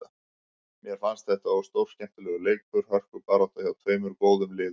Mér fannst þetta stórskemmtilegur leikur, hörkubarátta, hjá tveimur góðum liðum.